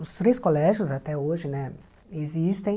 Os três colégios até hoje né existem.